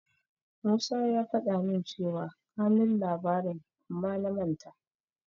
Musa ya faɗa min cewa kanun labarin amma na manta.